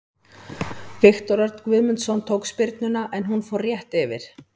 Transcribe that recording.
Viktor Örn Guðmundsson tók spyrnuna en hún fór rétt yfir.